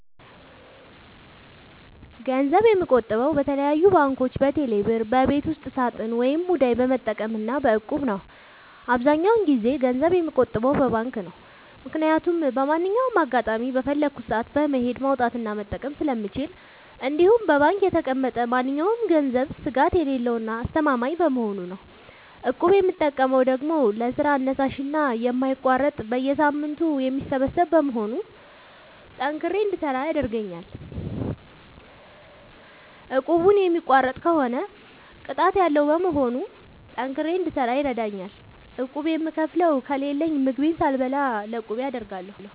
ገንዘብ የምቆጥበው በተለያዩ ባንኮች÷በቴሌ ብር ÷በቤት ውስጥ ሳጥን ወይም ሙዳይ በመጠቀም እና በ እቁብ ነው። አብዛኛውን ጊዜ ገንዘብ የምቆጥበው በባንክ ነው። ምክያቱም በማንኛውም አጋጣሚ በፈለኩት ሰአት በመሄድ ማውጣት እና መጠቀም ስለምችል እንዲሁም በባንክ የተቀመጠ ማንኛውም ገንዘብ ስጋት የሌለው እና አስተማማኝ በመሆኑ ነው። እቁብ የምጠቀመው ደግሞ ለስራ አነሳሽና የማይቋረጥ በየሳምንቱ የሚሰበሰብ በመሆኑ ጠንክሬ እንድሰራ ያደርገኛል። እቁቡን የሚቋርጥ ከሆነ ቅጣት ያለዉ በመሆኑ ጠንክሬ እንድሰራ ይረደኛል። ቁብ የምከፍለው ከሌለኝ ምግቤን ሳልበላ ለቁቤ አደርጋለሁ።